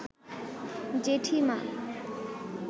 জেঠিমা